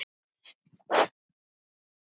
Mér bara finnst það.